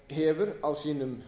hefur á sínum